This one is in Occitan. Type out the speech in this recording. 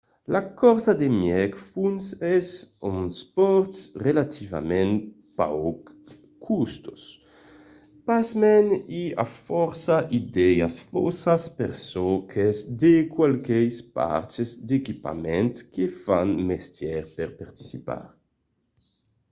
la corsa de mièg fons es un espòrt relativament pauc costós; pasmens i a fòrça idèas faussas per çò qu'es de qualques parts d'equipament que fan mestièr per participar